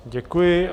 Děkuji.